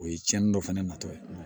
O ye cɛnni dɔ fana natɔ ye